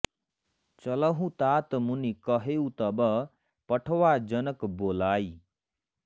चलहु तात मुनि कहेउ तब पठवा जनक बोलाइ